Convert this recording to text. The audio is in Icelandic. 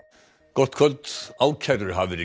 gott kvöld ákærur hafa verið